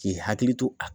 K'i hakili to a